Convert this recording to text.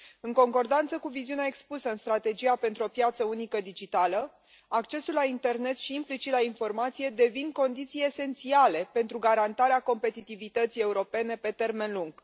În concordanță cu viziunea expusă în Strategia pentru o piață unică digitală, accesul la internet și, implicit, la informație devin condiții esențiale pentru garantarea competitivității europene pe termen lung.